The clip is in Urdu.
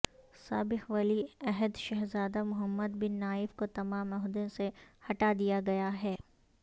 سابق ولی عہد شہزادہ محمد بن نائف کو تمام عہدوں سے ہٹا دیا گیا ہے